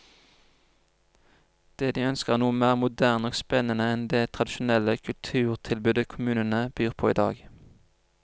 Det de ønsker er noe mer moderne og spennende enn det tradisjonelle kulturtilbudet kommunene byr på i dag.